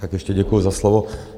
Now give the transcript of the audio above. Tak ještě děkuji za slovo.